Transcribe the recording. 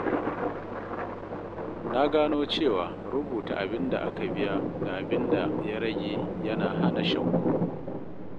Na gano cewa rubuta abin da aka biya da abin da ya rage yana hana shakku.